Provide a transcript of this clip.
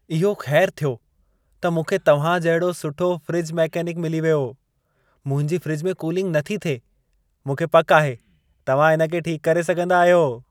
इहो खै़रु थियो त मूंखे तव्हां जहिड़ो सुठो फ्रिज मैकेनिक मिली वियो। मुंहिंजी फ्रिज में कूलिंग नथी थिए। मूंखे पकि आहे तव्हां इन खे ठीक करे सघंदा आहियो।